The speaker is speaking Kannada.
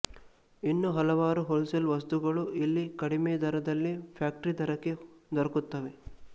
ಇನ್ನೂ ಹಲವಾರು ಹೋಲ್ ಸೇಲ್ ವಸ್ತುಗಳು ಇಲ್ಲಿ ಕಡಿಮೆದರದಲ್ಲಿ ಫ್ಯಾಕ್ಟರಿ ದರಕ್ಕೆ ದೊರಕುತ್ತವೆ